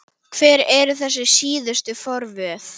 Hver eru þessi síðustu forvöð?